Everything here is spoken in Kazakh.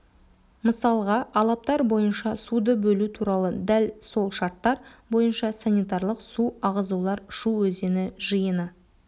мысалға алаптар бойынша суды бөлу туралы дәл сол шарттар бойынша санитарлық су ағызулар шу өзені жиыны